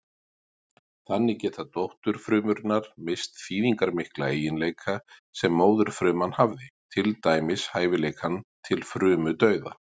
Þannig geta dótturfrumurnar misst þýðingarmikla eiginleika sem móðurfruman hafði, til dæmis hæfileikann til frumudauða.